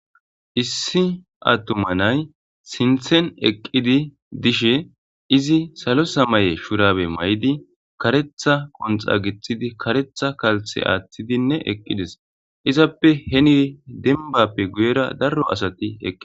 Issi attumanay sinthen eqqidi dishe izi salo samaye shurabe may7di karetha qonxa gixidi karetha kalthe aaththidinne eqqides izappe heni denbappe guyera darro asati eqqi